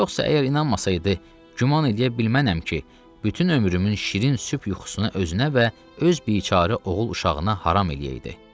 Yoxsa əgər inanmasaydı, güman eləyə bilməm ki, bütün ömrümün şirin sübh yuxusuna özünə və öz biçare oğul uşağına haram eləyəydi.